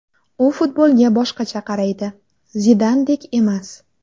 U futbolga boshqacha qaraydi, Zidandek emas.